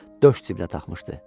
Döş cibinə taxmışdı.